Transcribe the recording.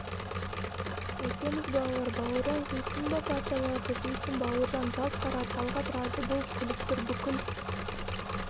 қайтеміз балалар бауыржан жусын ба парталарды жусын бауыржан жалт қарады талғат разы болып күліп тұр бүкіл